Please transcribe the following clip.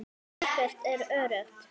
Ekkert er öruggt.